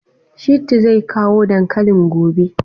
Shittu zai kawo dankalin gobe?